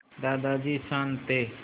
दादाजी शान्त थे